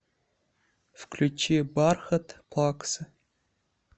включи бархат плаксы